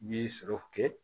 Bi sɔrɔ kɛ